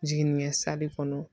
Jiginkɛ kɔnɔ